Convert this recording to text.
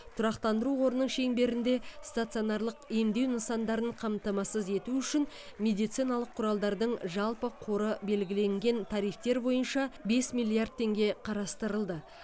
тұрақтандыру қорының шеңберінде стационарлық емдеу нысандарын қамтамасыз ету үшін медициналық құралдардың жалпы қоры белгілеген тарифтер бойынша бес миллиард теңге қарастырылды